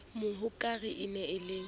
mohokare e ne e le